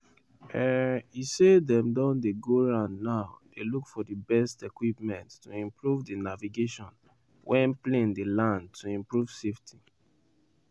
um e say dem dey go round now dey look for di best equipment to improve di navigation wen plane dey land to improve safety.